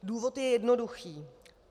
Důvod je jednoduchý.